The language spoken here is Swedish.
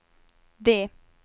D